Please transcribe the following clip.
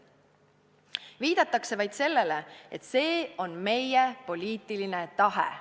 Viidatakse vaid sellele, et see on meie poliitiline tahe.